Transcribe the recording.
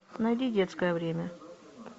найди детское время